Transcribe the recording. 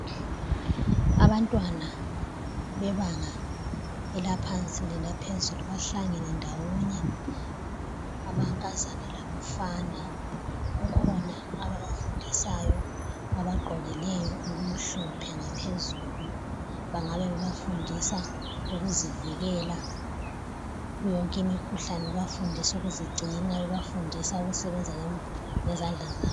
Abantwana bebanga elaphansi lelaphezulu bahlangane ndawonye amankazana labafana kukhona ababafundisayo abagqokileyo okumhlophe ngaphezulu. Bangabe bebafundisa ukuzivikela kuyoyonke imikhuhlane, bebafundisa ukuzigcina bebafundisa ukusebenza ngezandla zabo.